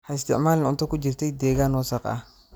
Ha isticmaalin cunto ku jirtay deegaan wasakh ah.